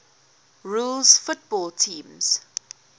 rules football teams